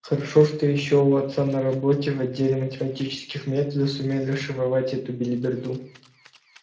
хорошо ещё что у отца на работе в отделе математических методов сумели расшифровать эту белиберду